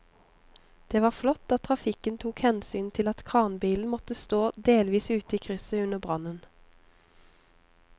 Det var flott at trafikken tok hensyn til at kranbilen måtte stå delvis ute i krysset under brannen.